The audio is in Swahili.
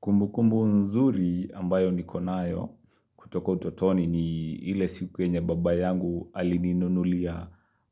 Kumbukumbu nzuri ambayo nikonayo kutoka utotoni ni ile siku enye baba yangu alininunulia